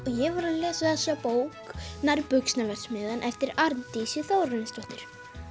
ég var að lesa þessa bók eftir Arndísi Þórarinsdóttur